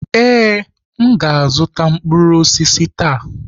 Ee, m ga-azụta mkpụrụ osisi taa.